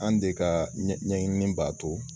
An de ka ɲɛ ɲɛɲinini b'a to